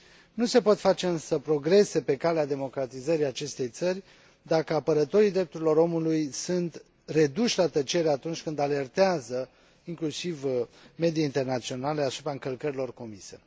Nu se pot face însă progrese pe calea democratizării acestei țări dacă apărătorii drepturilor omului sunt reduși la tăcere atunci când alertează inclusiv medii internaționale asupra încălcărilor comise.